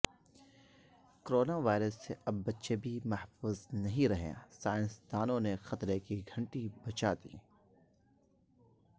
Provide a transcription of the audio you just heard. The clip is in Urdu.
کوروناوائرس سے اب بچے بھی محفوظ نہ رہے سائنسدانوںنےخطرے کی گھنٹی بجادی